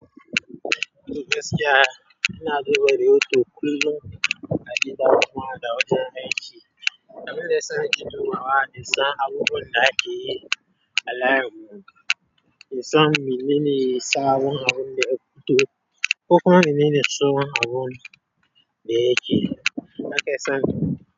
To gaskiya ina duba radio kullum agida kuma da wajen aiki abinda yasa nake dubawa insan abinda akeyi alayin mu in san menene sabon abunda yafito kokuma mene tsohon abunda yake nakeson.